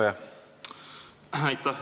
Aitäh!